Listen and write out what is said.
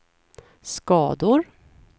skador